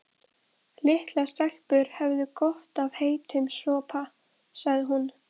Litlar stelpur hefðu gott af heitum sopa, sagði hún.